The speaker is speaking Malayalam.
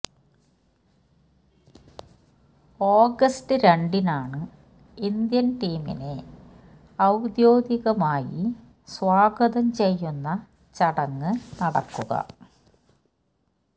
ഓഗസ്റ്റ് രണ്ടിനാണ് ഇന്ത്യന് ടീമിനെ ഔദ്യോഗികമായി സ്വാഗതം ചെയ്യുന്ന ചടങ്ങ് നടക്കുക